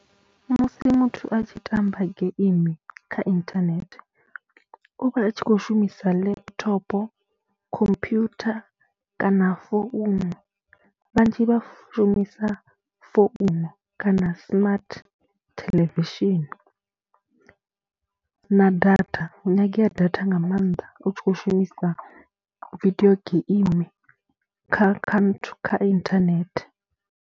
Musi muthu a tshi tamba geimi kha inthanethe u vha a tshi khou shumisa laptop, khophuyutha kana founu, vhanzhi vha shumisa founu kana smart theḽevishini na data hu nyangea data nga maanḓa u tshi khou shumisa vidio geimi kha kha nthu kha internet.